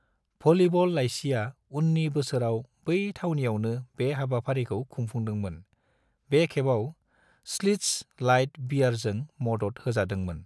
Volleyball लाइसिया उन्नि बोसोराव बै थावनियावनो बे हाबाफारिखौ खुंफुंदोंमोन, बे खेबाव श्लिट्ज लाइट बीयारजों मदद होजादोंमोन।